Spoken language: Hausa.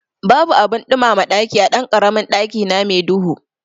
Babu abin ɗumama ɗaki a ɗankaramin ɗakina me duhu